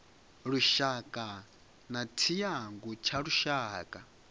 lushaka na tshiangu tsha lushaka